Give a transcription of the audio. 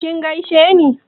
kin gaisheni?